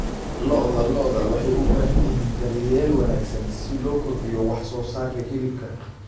Lo'da lo'da waxay u baahan yihiin daryeel wanaagsan si loo kordhiyo wax soo saarka hilibka.